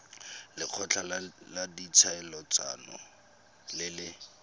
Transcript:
lekgotla la ditlhaeletsano le le